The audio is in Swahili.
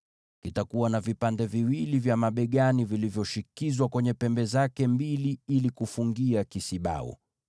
Kitakuwa na vipande viwili vya mabegani vilivyoshikizwa kwenye pembe zake mbili ili kufungia kisibau.